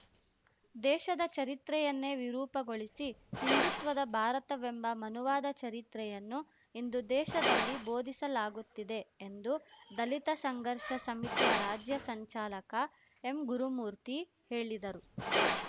ದೇಶದ ಚರಿತ್ರೆಯನ್ನೇ ವಿರೂಪಗೊಳಿಸಿ ಹಿಂದುತ್ವದ ಭಾರತವೆಂಬ ಮನುವಾದ ಚರಿತ್ರೆಯನ್ನು ಇಂದು ದೇಶದಲ್ಲಿ ಬೋಧಿಸಲಾಗುತ್ತಿದೆ ಎಂದು ದಲಿತ ಸಂಘರ್ಷ ಸಮಿತಿಯ ರಾಜ್ಯ ಸಂಚಾಲಕ ಎಂಗುರುಮೂರ್ತಿ ಹೇಳಿದರು